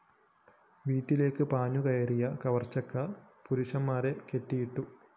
വീട്ടിലേക്ക് പാഞ്ഞുകയറിയ കവര്‍ച്ചക്കാര്‍ പുരുഷന്മാരെ കെട്ടിയിട്ടു